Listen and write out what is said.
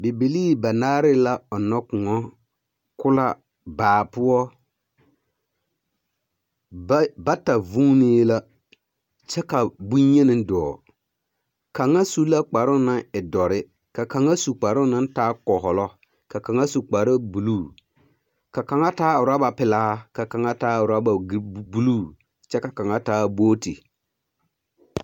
Bibilii banaare la ɔnnɔ kõɔ, kolaa baa poɔ. Ba bata vuunee la kyɛ ka boŋyeni dɔɔ. Kaŋa su la kparoŋ naŋ e dɔre, ka kaŋa su kparoŋ naŋ taa kɔhɔlɔ, ka kaŋa su kparebuluu, ka kaŋa taa orɔba pelaa, ka kaŋa taa orɔba buluu kyɛ ka kaŋa taa booti.